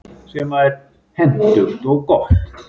Hentugt og gott.